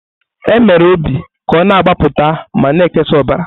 E mere obi ka ọ na-agbapụta ma na-ekesa ọbara.